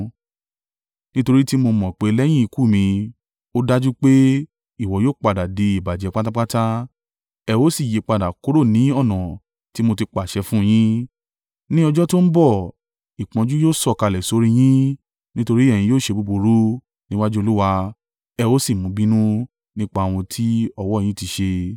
Nítorí tí mo mọ̀ pé lẹ́yìn ikú mi, ó dájú pé ìwọ yóò padà di ìbàjẹ́ pátápátá, ẹ ó sì yípadà kúrò ní ọ̀nà tí mo ti pàṣẹ fún un yín. Ní ọjọ́ tó ń bọ̀, ìpọ́njú yóò sọ̀kalẹ̀ sórí i yín nítorí ẹ̀yin yóò ṣe búburú níwájú Olúwa ẹ ó sì mú u bínú nípa ohun tí ọwọ́ yín ti ṣe.”